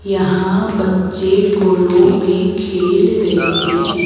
यहां बच्चे गोलों में खेल रहें हैं।